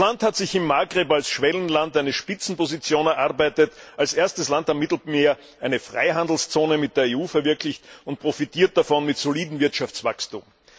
Das Land hat sich im Maghreb als Schwellenland eine Spitzenposition erarbeitet, als erstes Land am Mittelmeer eine Freihandelszone mit der EU verwirklicht und profitiert davon mit solidem Wirtschaftswachstum.